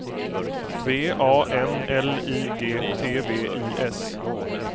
V A N L I G T V I S